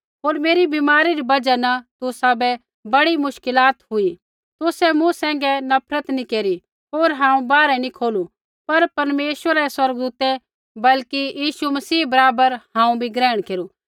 होर मेरी बीमारी री बजहा न तुसाबै बड़ी मुश्कलात हुई तुसै मूँ सैंघै नफ़रत नैंई केरी होर हांऊँ बाहर नैंई खोलू पर परमेश्वरा रै स्वर्गदूतै बल्कि यीशु मसीह बराबर हांऊँ भी ग्रहण केरू